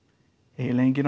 eiginlega enginn